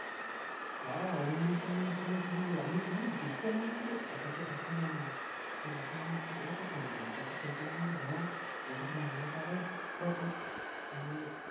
হ্যাঁ অন্য একটা মেয়ের ছবি ছিলোরে আমি মানে দেইখা মনে করি এটাতো কাকিমা না ভাবলাম একটা ছবি তুলি একটা ছবি তুল্লাম হ্যা এটাতো নির্মল কাকা বটে যেমন